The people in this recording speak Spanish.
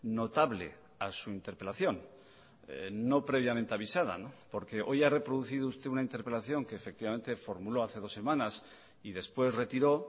notable a su interpelación no previamente avisada porque hoy ha reproducido usted una interpelación que efectivamente formuló hace dos semanas y después retiró